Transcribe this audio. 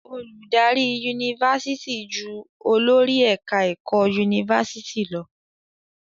Olùdarí Yunifásitì jù olórí ẹ̀ka ẹ̀kọ́ Yunifásitì lọ.